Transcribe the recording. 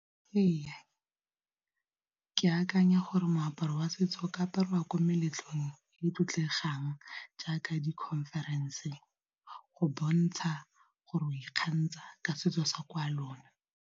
Ee ke akanya gore moaparo wa setso ka aparwa ko meletlong e e tlotlegang jaaka di-conference-e go bontsha gore o ikgantsha ka setso sa kwa lona.